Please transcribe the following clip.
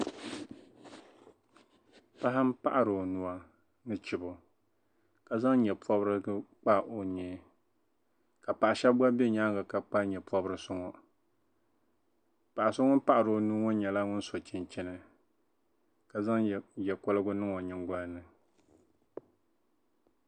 Paɣa m-paɣiri o nuu ni chibo ka zaŋ nyapɔbirigu m-pɔbi o nyee ka paɣ' shɛba gba be nyaaŋa niŋ nyapɔbirisi ŋɔ paɣ' so ŋun paɣiri o nuuni ŋɔ nyɛla ŋun so chinchini